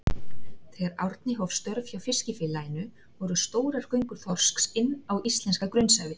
Þegar Árni hóf störf hjá Fiskifélaginu voru stórar göngur þorsks inn á íslenska grunnsævið.